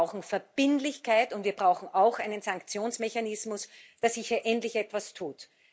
Wir brauchen Verbindlichkeit, und wir brauchen auch einen Sanktionsmechanismus, damit sich hier endlich etwas tut.